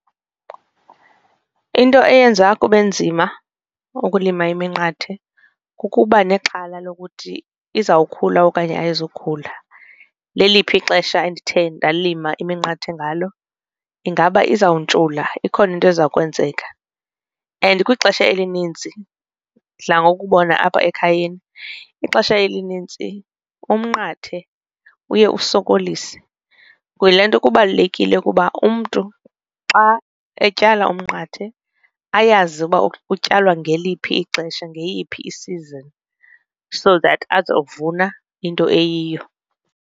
Into eyenza kube nzima ukulima iminqathe kukuba nexhala lokuthi izawukhula okanye ayizokukhula leliphi ixesha endithe ndalima iminqathe ngalo ingaba izawuntshula ikhona into eza kwenzeka, and kwixesha elininzi ndidla ngokubona apha ekhayeni ixesha elinintsi umnqathe uye usokolise. Yile nto kubalulekile ukuba umntu xa etyala umnqathe ayazi uba ukutyalwa ngeliphi ixesha ngeyiphi i-season so that azovuna into eyiyo.